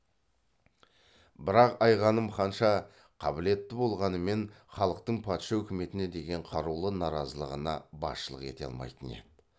бірақ айғаным қанша қабілетті болғанымен халықтың патша үкіметіне деген қарулы наразылығына басшылық ете алмайтын еді